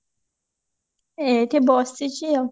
ଏଇଠି ବସିଛି ଆଉ